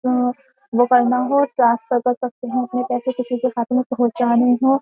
वो करना हो ट्रांसफर कर सकते हैं अपने पैसे किसी के खात में पहुंचाने हो।